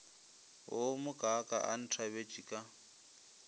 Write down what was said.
wo mokaaka a nthabetše ka